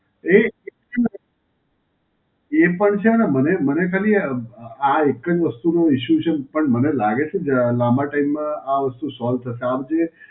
એ l, એ પણ છે ને મને મને ખાલી અ આ એક જ વસ્તુનું ઇશ્યૂ છે. પણ મને લાગે છે, જે આ લાંબા time માં આ વસ્તુ solve થશે. આમ જે